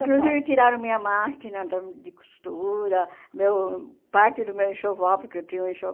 São Paulo. Inclusive tiraram minha máquina da de costura, meu parte do meu enxoval, porque eu tinha um